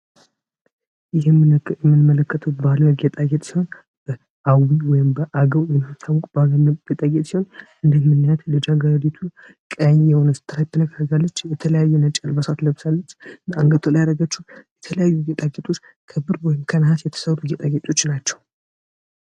ይህም የምንመለከተው ባህላዊ ጌጣጌጥ ሲሆን በአዊ ወይም በአገው የሚታወቅ ባህላዊ ጌጣጌጥ ሲሆን እንደምናያት ልጃገረዲቱ ቀይ የሆነ ስትራይፕነክ አርጋልች የተለያዩ ነጭ አልባሳት ለብሳለች እና አንገቷ ላይ ያደረገችው የተለያዩ ጌጣ ጌጥ ከብር ወይም ከነሀስ የተሰሩ ጌጣጌጦች ናቸው።